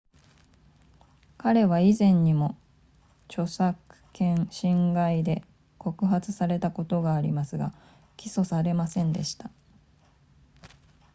彼は以前にも著作権侵害で告発されたことがありますが起訴されませんでした